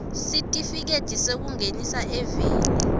sitifiketi sekungenisa eveni